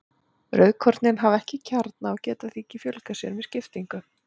Rauðkornin hafa ekki kjarna og geta því ekki fjölgað sér með skiptingu.